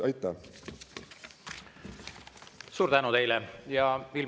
Aitäh!